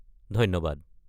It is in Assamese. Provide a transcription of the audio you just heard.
ধন্যবাদ।